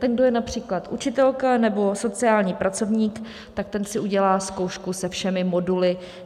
Ten, kdo je například učitelka nebo sociální pracovník, tak ten si udělá zkoušku se všemi moduly.